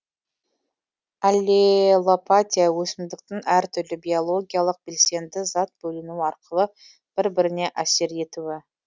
аллелопатия өсімдіктің әртүрлі биологиялық белсенді зат бөліну арқылы бір біріне әсер етуі